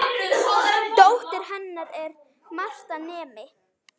Dóttir hennar er Marta nemi.